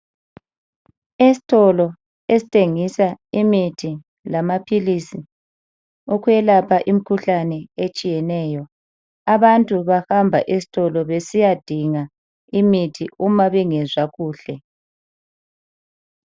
Esitolo esithengisa imithi lamaphilisi okwelapha imikhuhlane etshiyeneyo. Abantu bahamba esitolo besiyadinga imithi uma bengezwa kuhle.